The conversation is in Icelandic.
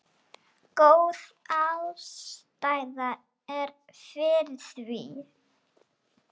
Góð ástæða er fyrir því.